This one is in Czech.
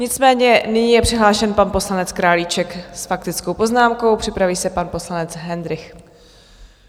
Nicméně nyní je přihlášen pan poslanec Králíček s faktickou poznámkou, připraví se pan poslanec Hendrych.